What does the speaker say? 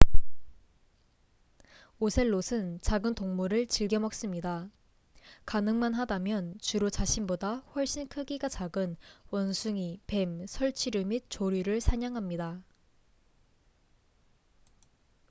오셀롯은 작은 동물을 즐겨 먹습니다 가능만 하다면 주로 자신보다 훨씬 크기가 작은 원숭이 뱀 설치류 및 조류를 사냥합니다